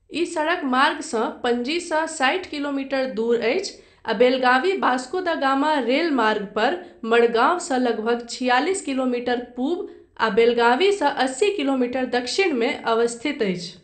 ई सड़कमार्गसँ पणजीसँ साठि किलोमीटर दूर अछि आ बेलगावी वास्को दा गामा रेलमार्ग पर मडगांवसँ लगभग छियालीस किलोमीटर पूब आ बेलगावीसँ अस्सी किलोमीटर दक्षिणमे अवस्थित अछि।